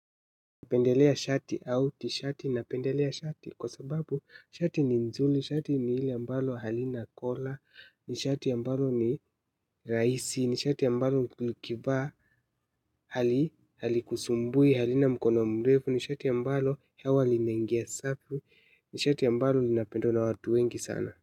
Napendelea shati au tishati. Napendelea shati kwa sababu shati ni nzuli, shati ni hili ambalo halina kola, ni shati ambalo ni, rahisi, ni shati ambalo nikivaa halikusumbui, halina mkono mrevu, ni shati ambalo hewa linaingia safi, ni shati ambalo linapendwa na watu wengi sana.